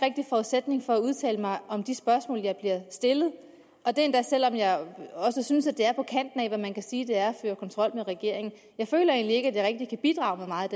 forudsætning for at udtale mig om de spørgsmål jeg bliver stillet og det endda selv om jeg også synes at det er på kanten af hvad man kan sige er at føre kontrol med regeringen jeg føler egentlig ikke at jeg rigtig kan bidrage med meget